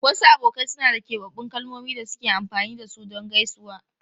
Wasu abokai suna da keɓaɓɓun kalmomin da suke amfani da su don gaisuwa.